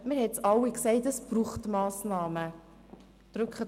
Wir haben alle gesagt, dass es Massnahmen braucht.